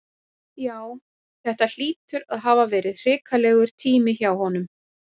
Já, þetta hlýtur að hafa verið hrikalegur tími hjá honum.